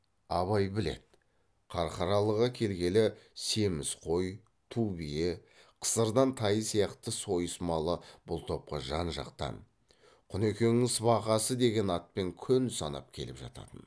абай біледі қарқаралыға келгелі семіз қой ту бие қысырдың тайы сияқты сойыс малы бұл топқа жан жақтан құнекеңнің сыбағасы деген атпен күн санап келіп жататын